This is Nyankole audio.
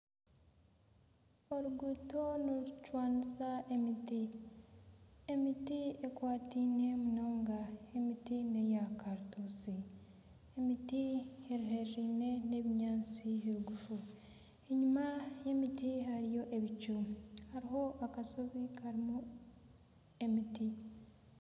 Oruguuto nirucwanisa emiti, emiti ekwataine munonga emiti neya karituusi emiti eri haihi n'ebinyaatsi biguufu, enyima y'emiti hariyo ebicu hariho akashozi karimu emiti